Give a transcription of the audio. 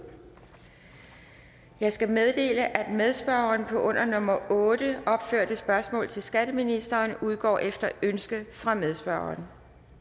jeg skal meddele at medspørgeren på det under nummer otte opførte spørgsmål til skatteministeren udgår efter ønske fra medspørgeren